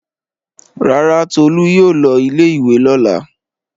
Rárá, Tolú yóò lọ ilé-ìwé lọ́la.